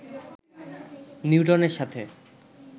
নিউটনের সাথে